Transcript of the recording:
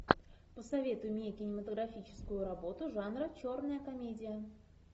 посоветуй мне кинематографическую работу жанра черная комедия